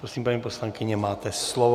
Prosím, paní poslankyně, máte slovo.